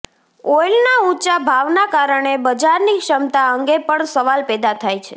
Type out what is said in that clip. ઓઇલના ઊંચા ભાવના કારણે બજારની ક્ષમતા અંગે પણ સવાલ પેદા થાય છે